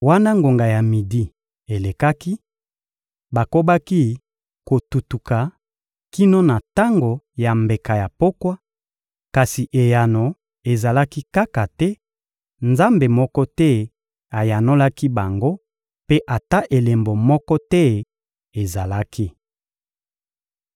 Wana ngonga ya midi elekaki, bakobaki kotuntuka kino na tango ya mbeka ya pokwa, kasi eyano ezalaki kaka te, nzambe moko te ayanolaki bango mpe ata elembo moko te ezalaki.